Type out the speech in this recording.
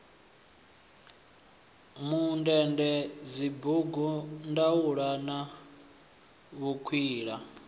mundende dzibugu ndaula na vhukwila